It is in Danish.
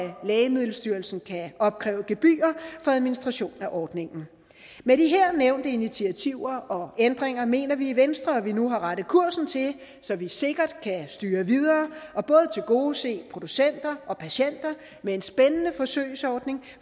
lægemiddelstyrelsen kan opkræve gebyrer for administration af ordningen med de her nævnte initiativer og ændringer mener vi i venstre at vi nu har rettet kursen til så vi sikkert kan styre videre og tilgodese producenter og patienter med en spændende forsøgsordning